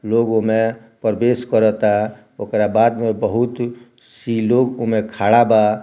लोग एमे प्रवेश कर ता ओकरा बाद में बहुत सी लोग ओमे खड़ा बा।